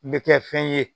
N bɛ kɛ fɛn ye